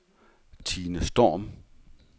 Tine Storm